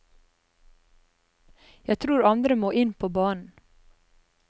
Jeg tror andre må inn på banen.